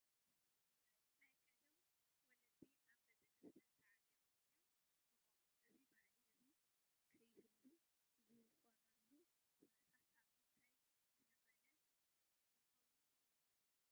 ናይ ቀደም ወለዲ ኣብ ቤተ ክርስቲያን ተዓጢቖም እዮም ዝቖሙ፡፡ እዚ ባህሊ ሕዚ ከይህሉ ዝኾነሉ ኩነታት ካብ ምንታይ ዝነቐለ ይኸውን ትብሉ?